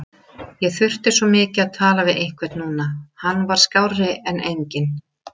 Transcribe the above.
Ég þurfti svo mikið að tala við einhvern núna, hann var skárri en enginn.